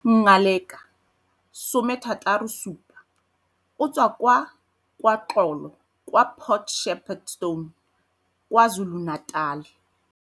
Ngaleka, 67, o tswa kwa KwaXolo kwa Port Shepstone, KwaZulu-Natal.